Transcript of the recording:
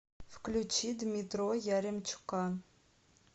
включи дмитро яремчука